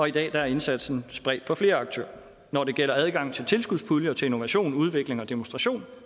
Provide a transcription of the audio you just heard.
i dag er indsatsen spredt ud på flere aktører når det gælder adgangen til tilskudspuljer til innovation udvikling og demonstration